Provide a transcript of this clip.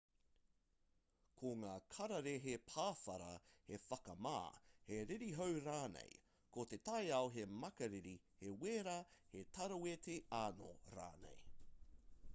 ko ngā kararehe pāwhara he whakamā he ririhau rānei ko te taiao he makariri he wera he taraweti anō rānei